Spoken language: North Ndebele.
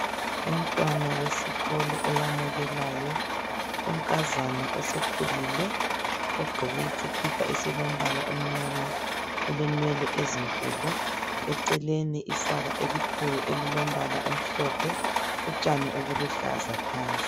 Umntwana wesikolo oyamukelayo, unkazana osekhulile ogqoke isikipa esilombala omnyama. Ulenwele ezinkulu eceleni isaka elikhulu elilombala omhlophe utshani obuluhlaza phansi.